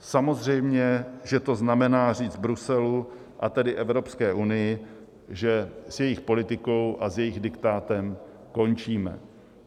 Samozřejmě že to znamená říct Bruselu, a tedy Evropské unii, že s jejich politikou a s jejich diktátem končíme.